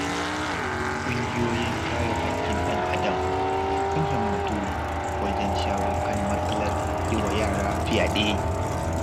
Ƙungiyoyin kare haƙƙin ɗan-adam sun himmatu wajen shawo kan matsalar yi wa yara fyaɗe.